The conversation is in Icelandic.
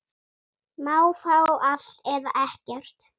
Má fá allt, eða ekkert.